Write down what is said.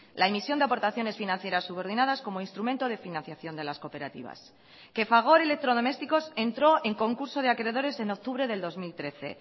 la emisión de aportaciones financieras subordinadas como instrumento de financiación de las cooperativas que fagor electrodomésticos entró en concurso de acreedores en octubre del dos mil trece